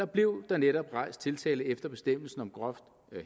blev der netop rejst tiltale efter bestemmelsen om groft